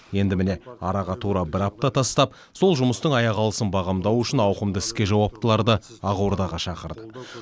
енді міне араға тура бір апта тастап сол жұмыстың аяқалысын бағамдау үшін ауқымды іске жауаптыларды ақордаға шақырды